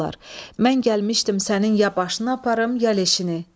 Mən gəlmişdim sənin ya başını aparım, ya leşini.